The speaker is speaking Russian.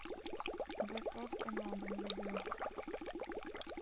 доставка на дом еды